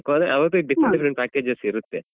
ಅದೇ ಅವ್ರ್ different packages ಎಲ್ಲ ಇರುತ್ತೆ.